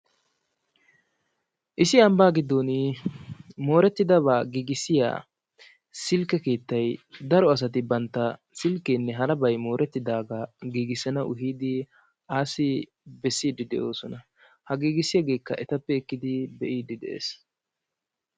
issi ambaa giddon moorettidabaa giigissiya silkke keettay daro asati bantta silkeenne harabay moorettidaagaa giigissanawu giidi assi bessiiddi des, ha giigissiyageekka etappe ekkidi be'iidi de"es.